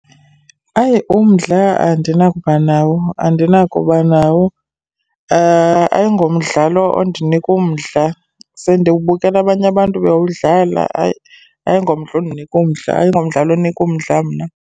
Hayi, umdla andinakuba nawo, andinakuba nawo. Ayingomdlalo ondinika umdla. Sendiwubukela abanye abantu bewudlala, hayi, ayingomdla ondinika umdla, ayingomdlalo onika umdla mna.